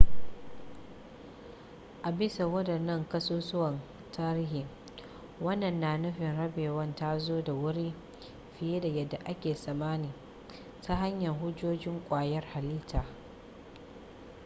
a bisa waɗannan ƙasusuwan tarihi wannan na nufin rabewar ta zo da wuri fiye da yadda ake tsammani ta hanyar hujjojin ƙwayar halitta